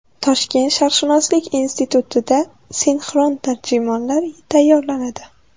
Toshkent sharqshunoslik institutida sinxron tarjimonlar tayyorlanadi.